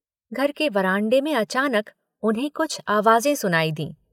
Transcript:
घर के बरामदे में अचानक उन्हें कुछ आवाजें सुनाई दीं।